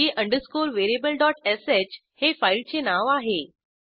g underscore variableश हे फाईलचे नाव आहे